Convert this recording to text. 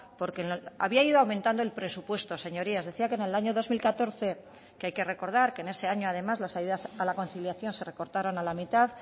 porque había ido aumentando el presupuesto señorías decía que en el año dos mil catorce que hay que recordar que en ese año además las ayudas a la conciliación se recortaron a la mitad